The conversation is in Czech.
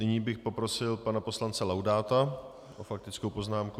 Nyní bych poprosil pana poslance Laudáta s faktickou poznámkou.